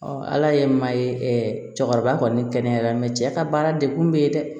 ala ye maa ye cɛkɔrɔba kɔni kɛnɛyara mɛ cɛ ka baara de kun bɛ ye dɛ